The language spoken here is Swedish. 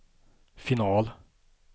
final